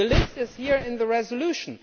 The list is here in the resolution.